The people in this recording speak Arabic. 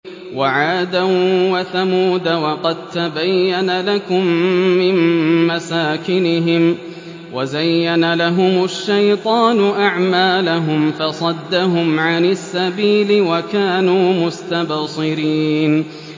وَعَادًا وَثَمُودَ وَقَد تَّبَيَّنَ لَكُم مِّن مَّسَاكِنِهِمْ ۖ وَزَيَّنَ لَهُمُ الشَّيْطَانُ أَعْمَالَهُمْ فَصَدَّهُمْ عَنِ السَّبِيلِ وَكَانُوا مُسْتَبْصِرِينَ